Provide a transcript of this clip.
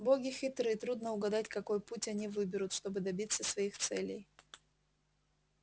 боги хитры трудно угадать какой путь они выберут чтобы добиться своих целей